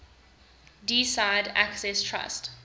deeside access trust